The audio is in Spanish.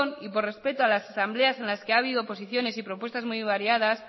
y por respeto a las asambleas en las que ha habido posiciones y propuestas muy variadas